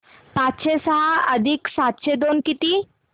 पाचशे सहा अधिक सातशे दोन किती